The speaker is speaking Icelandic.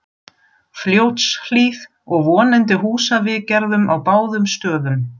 Fljótshlíð og vonandi húsaviðgerðum á báðum stöðum.